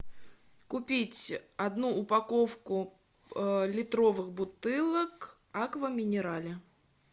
купить одну упаковку литровых бутылок аква минерале